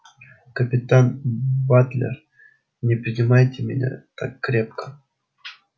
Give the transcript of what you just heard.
капитан батлер не прижимайте меня так крепко